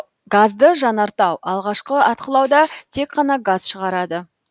газды жанартау алғашқы атқылауда тек қана газ шығарады